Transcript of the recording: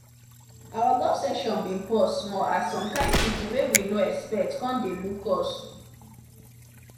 our golf session been pause small as some kin people wey we no expect come dey look us